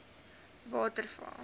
waterval